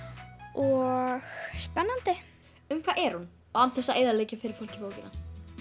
og spennandi um hvað er hún án þess að eyðileggja fyrir fólki bókina